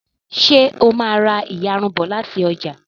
ṣe o má rá iyarun bó láti ọjà